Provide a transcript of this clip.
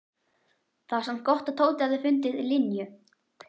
Það var samt gott að Tóti hafði fundið Linju.